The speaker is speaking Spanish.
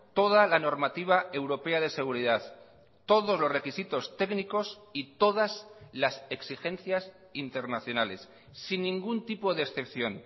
toda la normativa europea de seguridad todos los requisitos técnicos y todas las exigencias internacionales sin ningún tipo de excepción